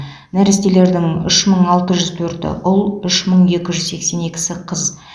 нәрестелердің үш мың алты жүз төрті ұл үш мың екі жүз сексен екісі қыз